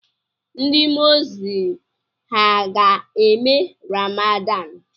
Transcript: Ndị mosilem ha ga-eme ramadan?